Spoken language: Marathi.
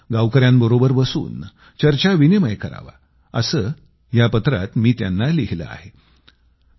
गावकऱ्यांबरोबर बसून चर्चाविनिमय करावे असं या पत्रात मी त्यांना लिहिलं आहे